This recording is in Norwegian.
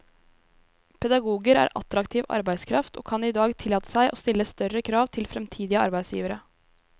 Pedagoger er attraktiv arbeidskraft og kan i dag tillate seg å stille større krav til fremtidige arbeidsgivere.